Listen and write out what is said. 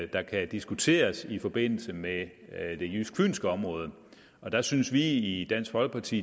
der kan diskuteres i forbindelse med det jysk fynske område og der synes vi i dansk folkeparti